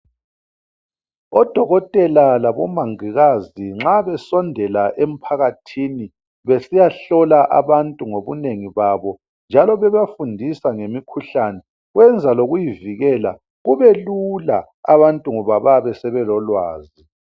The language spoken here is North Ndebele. Odokotela labomongikazi nxa besondela emphakathini besiyahlola abantu ngobunengi babo njalo bebafundisa ngemikhuhlane kwenza lokuyivikela kubelula abantu ngoba bayabe sebelolwazi.